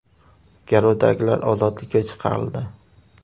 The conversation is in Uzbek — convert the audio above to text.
Garovdagilar ozodlikka chiqarildi.